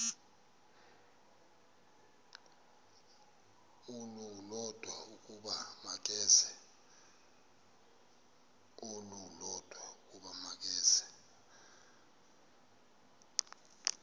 olulodwa ukuba makeze